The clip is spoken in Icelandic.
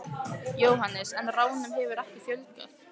Jóhannes: En ránum hefur ekki fjölgað?